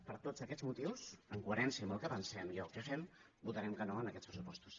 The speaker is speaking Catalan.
per tots aquests motius en coherència amb el que pensem i el que fem votarem que no en aquests pressupostos